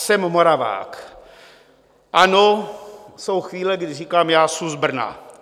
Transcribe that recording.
Jsem Moravák, ano, jsou chvíle, kdy říkám: Já su z Brna.